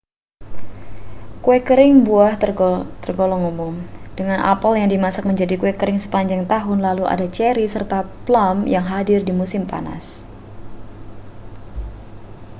kue kering buah tergolong umum dengan apel yang dimasak menjadi kue kering sepanjang tahun lalu ada ceri serta plum yang hadir di musim panas